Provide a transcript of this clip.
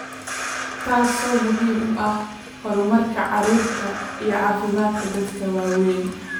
taasoo muhiim u ah horumarka carruurta iyo caafimaadka dadka waaweyn.